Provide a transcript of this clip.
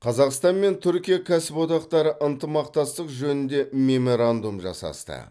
қазақстан мен түркия кәсіподақтары ынтымақтастық жөнінде меморандум жасасты